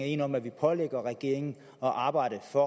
enige om at vi pålægger regeringen at arbejde for